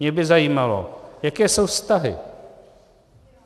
Mě by zajímalo, jaké jsou vztahy.